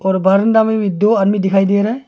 और बरामदा में भी दो आदमी दिखाई दे रहा है।